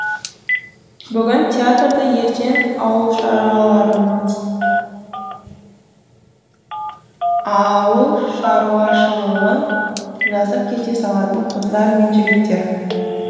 бүгін театрды ертең ауылшаруашылығын жазып кете салатын қыздар мен жігіттер